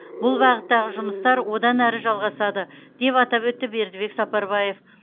бұл бағыттағы жұмыстар одан әрі жалғасады деп атап өтті бердібек сапарбаев